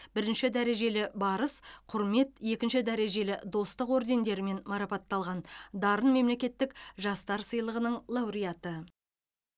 бірінші дәрежелі барыс құрмет екінші дәрежелі достық ордендерімен марапатталған дарын мемлекеттік жастар сыйлығының лауреаты